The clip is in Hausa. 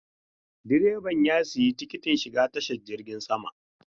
Direban ya sayi tikitin shiga tashar jirgin sama.